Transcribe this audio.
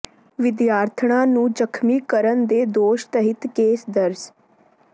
ਵਿਦਿਆਰਥਣਾਂ ਨੂੰ ਜ਼ਖ਼ਮੀ ਕਰਨ ਦੇ ਦੋਸ਼ ਤਹਿਤ ਕੇਸ ਦਰਜ